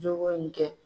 Jogo in kɛ